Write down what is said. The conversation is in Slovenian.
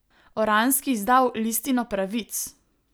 Oranski izdal Listino pravic!